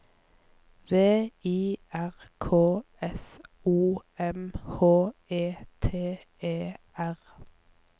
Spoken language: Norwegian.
V I R K S O M H E T E R